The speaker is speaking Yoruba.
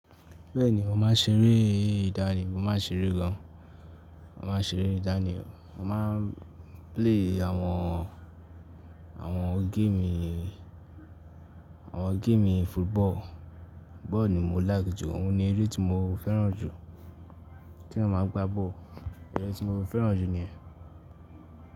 Bẹ́ẹ̀ni, mo máa ń ṣeré ìdánì, mo máa ń ṣeré gan. Mo máa ń ṣeré ìdánì, mo máa ń play àwọn, àwọn game, àwọn game bi football. Bọ́ọ̀lù ni mo like jù, òun ni eré tí mo fẹ́ràn jù. Kí eyan má gbá bọ́ọ̀lù. Ẹ̀rẹ́ tí mo fẹ́ràn jù ni yẹ́n.